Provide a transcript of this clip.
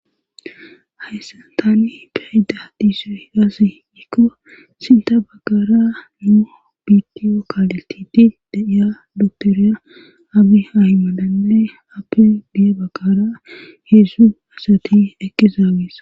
hayssa tani peyeda diiso higasii nikko sinta baggara nuu biidiyo kaaletidi deiya doktoriya agi hahimananne appi di7e baggara heedsu asati eqqizaagees